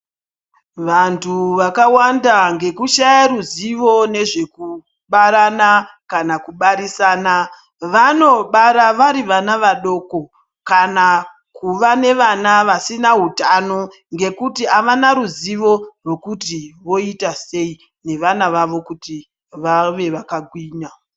Vantu vakawanda ngekushaya ruzivo nezvekubarana kana kubarisana vanobara vari vana vadoko kana kuva nevana vasina utano ngekuti avana ruzivo rwekuti voita sei nevana vavo kuti vave vakagwinya .